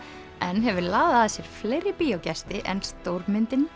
en hefur laðað að sér fleiri bíógesti en stórmyndin